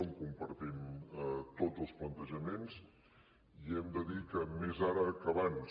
en compartim tots els plantejaments i hem de dir que més ara que abans